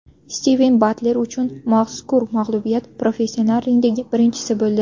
Stiven Batler uchun mazkur mag‘lubiyat professional ringdagi birinchisi bo‘ldi.